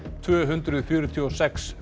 tvö hundruð fjörtíu og sex